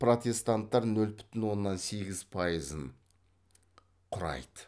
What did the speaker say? протестанттар нөл бүтін оннан сегіз пайызын құрайды